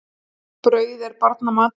Brauð er barna matur.